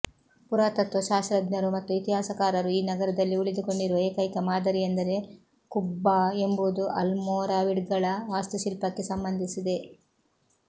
ಪುರಾತತ್ತ್ವ ಶಾಸ್ತ್ರಜ್ಞರು ಮತ್ತು ಇತಿಹಾಸಕಾರರು ಈ ನಗರದಲ್ಲಿ ಉಳಿದುಕೊಂಡಿರುವ ಏಕೈಕ ಮಾದರಿಯೆಂದರೆ ಕುಬ್ಬಾ ಎಂಬುದು ಅಲ್ಮೋರಾವಿಡ್ಗಳ ವಾಸ್ತುಶಿಲ್ಪಕ್ಕೆ ಸಂಬಂಧಿಸಿದೆ